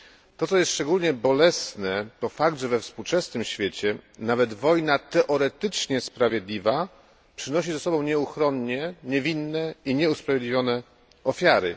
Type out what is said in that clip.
To, co jest szczególnie bolesne, to fakt, że we współczesnym świecie wojna nawet teoretycznie sprawiedliwa przynosi ze sobą nieuchronnie niewinne i nieusprawiedliwione ofiary.